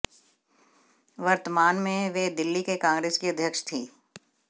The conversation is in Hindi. वर्तमान में वे दिल्ली के कांग्रेस की अध्यक्ष थीं